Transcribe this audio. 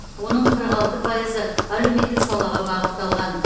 оның қырық алты пайызы әлеуметтік салаға бағытталған